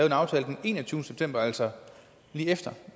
en aftale den enogtyvende september altså lige efter